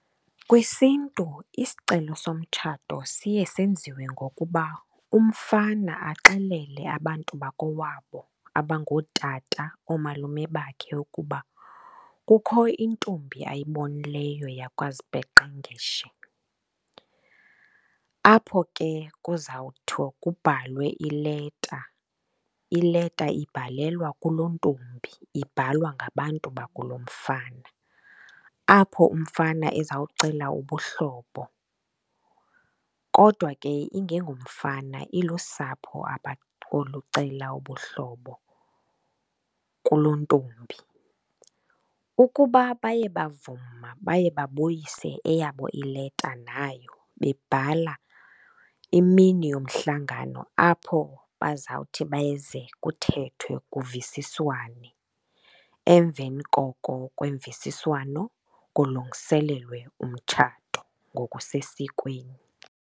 KwisiNtu isicelo somtshato siye senziwe ngokuba umfana axelele abantu bakowabo abangootata, oomalume bakhe ukuba kukho intombi ayibonileyo yakwaZipeqengeshe. Apho ke kuzawuthi kubhalwe ileta, ileta ibhalelwa kulontombi ibhalwa ngabantu bakulomfana, apho umfana ezawucela ubuhlobo. Kodwa ke ingengomfana, ilusapho apho olucela ubuhlobo kulontombi. Ukuba baye bavuma baye babuyise eyabo ileta nayo babhala imini yomhlangano apho bazawuthi beze kuthethwe, kuvisiswane. Emveni koko kwemvisiswano kulungiselelwe umtshato ngokusesikweni.